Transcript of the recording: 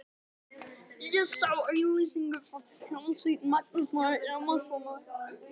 Ég sá auglýsingu frá hljómsveit Magnúsar Ingimarssonar.